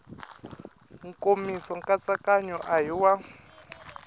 nkomiso nkatsakanyo a hi wa